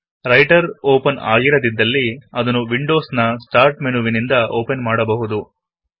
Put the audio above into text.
writer open ಆಗಿರದಿದ್ದಲ್ಲಿ ಅದನ್ನು Windows ನ ಸ್ಟಾರ್ಟ್ ಮೆನು ವಿನಿಂದ ಒಪೆನ್ ಮಾಡಬಹುದು